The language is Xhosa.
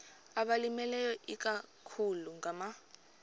abalimileyo ikakhulu ngama